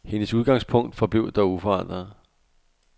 Hendes udgangspunkt forblev dog uforandret.